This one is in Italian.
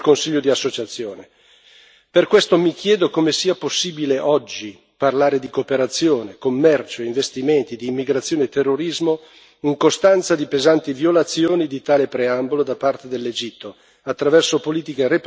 Per questo mi chiedo come sia possibile oggi parlare di cooperazione, commercio, investimenti, immigrazione e terrorismo in costanza di pesanti violazioni di tale preambolo da parte dell'Egitto, attraverso politiche repressive in materia di diritti umani.